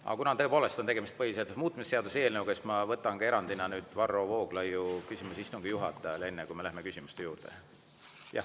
Aga kuna tõepoolest on tegemist põhiseaduse muutmise seaduse eelnõuga, siis ma võtan erandina Varro Vooglaiu küsimuse istungi juhatajale, enne kui me läheme küsimuste juurde.